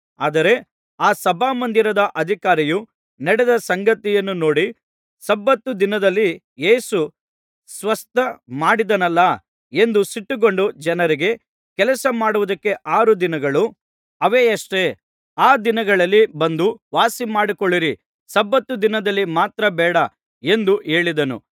ಆದರೆ ಆ ಸಭಾಮಂದಿರದ ಅಧಿಕಾರಿಯು ನಡೆದ ಸಂಗತಿಯನ್ನು ನೋಡಿ ಸಬ್ಬತ್ ದಿನದಲ್ಲಿ ಯೇಸು ಸ್ವಸ್ಥ ಮಾಡಿದನಲ್ಲಾ ಎಂದು ಸಿಟ್ಟುಗೊಂಡು ಜನರಿಗೆ ಕೆಲಸ ಮಾಡುವುದಕ್ಕೆ ಆರು ದಿನಗಳು ಅವೆಯಷ್ಟೆ ಆ ದಿನಗಳಲ್ಲಿ ಬಂದು ವಾಸಿಮಾಡಿಸಿಕೊಳ್ಳಿರಿ ಸಬ್ಬತ್ ದಿನದಲ್ಲಿ ಮಾತ್ರ ಬೇಡ ಎಂದು ಹೇಳಿದನು